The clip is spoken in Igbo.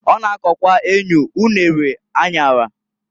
O na-akokwa enyu, unere, anyara.